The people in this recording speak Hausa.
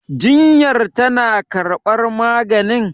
jinyar tana karbar maganin?